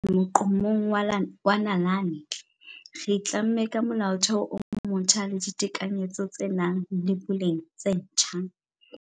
Ho theoleng Molaotheo wa kgethollo ho ya moqo-mong wa nalane, re itlamme ka Molaotheo o motjha le ditekanyetso tse nang le boleng tse ntjha.